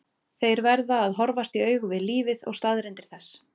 Þeir verða að horfast í augu við lífið og staðreyndir þess.